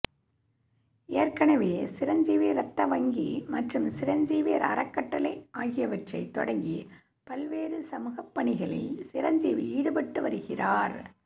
ஏற்கனவே சிரஞ்சீவி ரத்த வங்கி மற்றும் சிரஞ்சீவி அறக்கட்டளை ஆகியவற்றை தொடங்கி பல்வேறு சமூகப் பணிகளில் சிரஞ்சீவி ஈடுபட்டு வருகிறார்